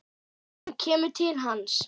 Hún kemur til hans.